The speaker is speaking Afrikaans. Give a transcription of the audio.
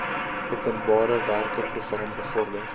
openbarewerke program bevorder